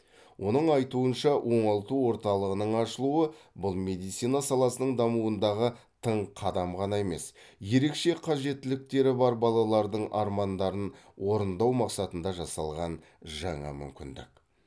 оның айтуынша оңалту орталығының ашылуы бұл медицина саласының дамуындағы тың қадам ғана емес ерекше қажеттіліктері бар балалардың армандарын орындау мақсатында жасалған жаңа мүмкіндік